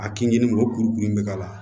A kinni o kurukuru in bɛ k'a la